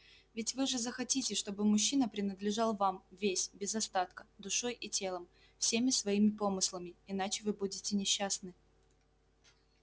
ведь вы же захотите чтобы мужчина принадлежал вам весь без остатка душой и телом всеми своими помыслами иначе вы будете несчастны